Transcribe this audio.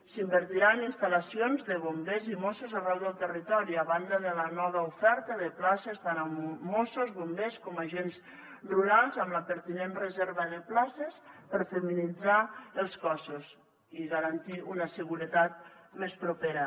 s’invertirà en instal·lacions de bombers i mossos arreu del territori a banda de la nova oferta de places tant a mossos bombers com a agents rurals amb la pertinent reserva de places per feminitzar els cossos i garantir una seguretat més propera